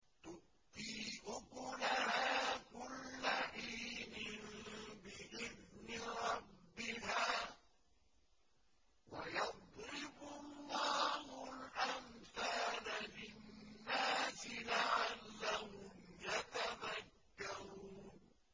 تُؤْتِي أُكُلَهَا كُلَّ حِينٍ بِإِذْنِ رَبِّهَا ۗ وَيَضْرِبُ اللَّهُ الْأَمْثَالَ لِلنَّاسِ لَعَلَّهُمْ يَتَذَكَّرُونَ